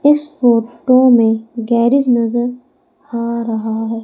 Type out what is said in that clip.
इस फोटो में गैरेज नजर आ रहा है।